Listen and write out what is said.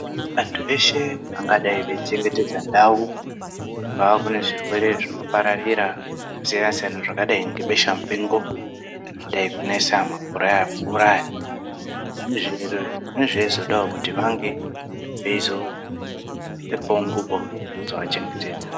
Antu eshe angadai eichengetedza ndau kubva kunezvirwere zvinopararira zvakasiyana-siyana zvakadai ngebesha mupengo rangadaikunesa makore aya apfuura zveizodawo kuti vange veipfekewo ngubo dzinozovachengetedza.